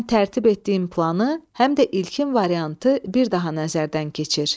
Həm tərtib etdiyin planı, həm də ilkin variantı bir daha nəzərdən keçir.